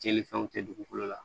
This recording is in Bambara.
Tiɲɛnifɛnw tɛ dugukolo la